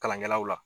Kalankɛlaw la